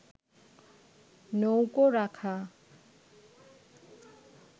নৌকো রাখা